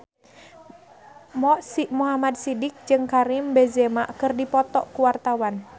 Mo Sidik jeung Karim Benzema keur dipoto ku wartawan